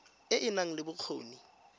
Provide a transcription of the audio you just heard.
e e nang le bokgoni